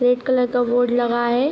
Red colour का board लगा है।